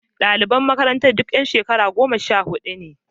Daliban makarantar duk yan shekara goma sha hudu ne.